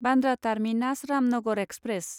Bandra terminus Ramnagar express